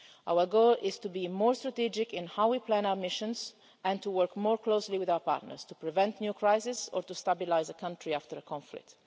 Our goal is to be more strategic in how we plan our missions and to work more closely with our partners to prevent new crises or to stabilise a country after a conflict.